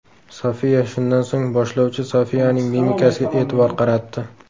Sofiya Shundan so‘ng boshlovchi Sofiyaning mimikasiga e’tibor qaratdi.